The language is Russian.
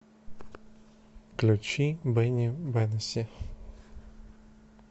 включи бенни бенасси